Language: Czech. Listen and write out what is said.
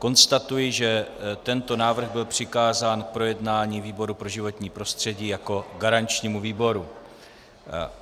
Konstatuji, že tento návrh byl přikázán k projednání výboru pro životní prostředí jako garančnímu výboru.